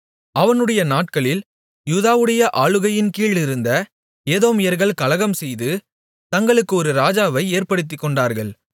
அவனுடைய நாட்களில் யூதாவுடைய ஆளுகையின்கீழிருந்த ஏதோமியர்கள் கலகம்செய்து தங்களுக்கு ஒரு ராஜாவை ஏற்படுத்திக்கொண்டார்கள்